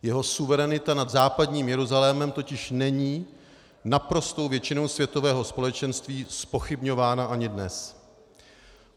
Jeho suverenita nad západním Jeruzalémem totiž není naprostou většinou světového společenství zpochybňována ani dnes.